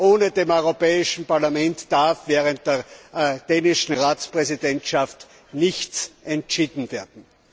Ohne das Europäische Parlament darf während der dänischen Ratspräsidentschaft nichts entschieden werden!